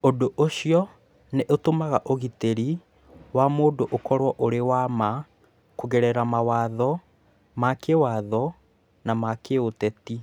Ũndũ ũcio nĩ ũtũmaga ũgitĩri wa mũndũ ũkorũo ũrĩ wa ma kũgerera mawatho ma kĩĩwatho na ma gĩũteti.